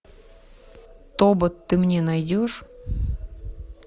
тобот ты мне найдешь